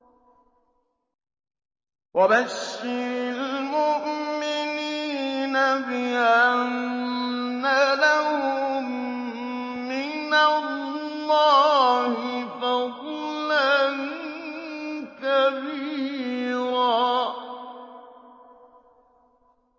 وَبَشِّرِ الْمُؤْمِنِينَ بِأَنَّ لَهُم مِّنَ اللَّهِ فَضْلًا كَبِيرًا